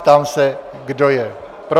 Ptám se, kdo je pro?